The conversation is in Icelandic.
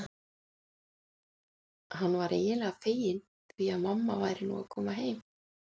Hann var eiginlega feginn því að mamma væri nú að koma heim.